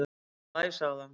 Ég blæs á það.